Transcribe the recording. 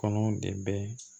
Kɔnɔw de bɛ